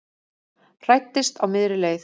Hræddist á miðri leið